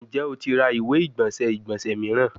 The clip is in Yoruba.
Njẹ o ti ra iwe-igbọnsẹ igbonse miiran?